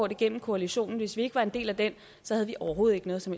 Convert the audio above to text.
igennem koalitionen hvis vi ikke var en del af den havde vi overhovedet ikke noget som